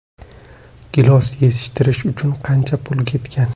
Gilos yetishtirish uchun qancha pul ketgan?